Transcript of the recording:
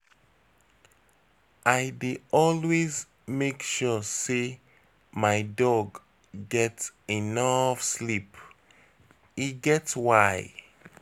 I dey always make sure sey my dog get enough sleep, e get why.